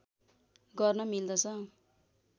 गर्न मिल्दछ